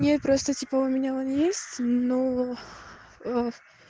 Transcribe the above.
не просто типа у меня он есть но